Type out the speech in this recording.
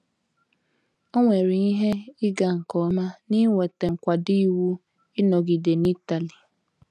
O nwere ihe ịga nke ọma n’inweta nkwado iwu ịnọgide n’Itali.